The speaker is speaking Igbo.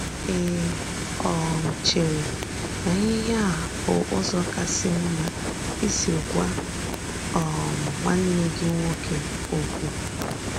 “Ì um chèrè na íhè a bụ́ ùzò kàsì mma ísì gwà um nwanne gị nwòké òkwù?”